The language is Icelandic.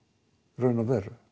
í raun og veru